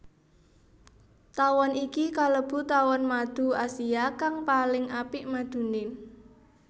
Tawon iki kalebu tawon madu Asia kang paling apik maduné